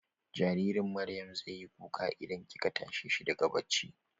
Jaririn Maryam zai yi kuka idan kika tashe shi daga bacci.